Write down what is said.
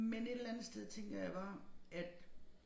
Men et eller andet sted tænker jeg bare at